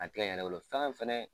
A tɛ n yɛrɛ bolo fɛnɛ